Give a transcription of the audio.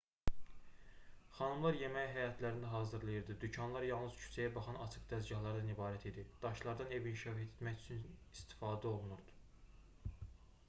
xanımlar yeməyi həyətlərində hazırlayırdı dükanlar yalnız küçəyə baxan açıq dəzgahlardan ibarət idi daşlardan ev inşa etmək üçün istifadə olunurdu